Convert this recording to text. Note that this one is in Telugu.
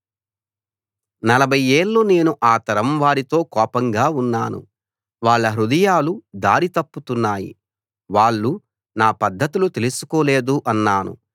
నలభై ఏళ్ళు నేను ఆ తరం వారితో కోపంగా ఉన్నాను వాళ్ళ హృదయాలు దారి తప్పుతున్నాయి వాళ్ళు నా పద్ధతులు తెలుసుకోలేదు అన్నాను